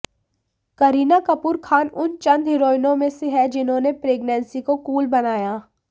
करीना कपूर खान उन चंद हीरोइनों में से हैं जिन्होंने प्रेगनेंसी को कूल बनाया